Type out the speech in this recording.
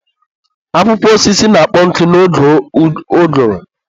Akwụkwọ osisi na-akpọ nkụ n'oge ụgụrụ.